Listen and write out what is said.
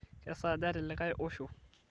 kesaaja telikae osho